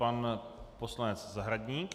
Pan poslanec Zahradník.